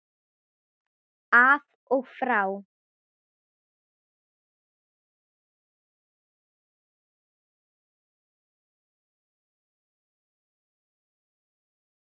Af og frá.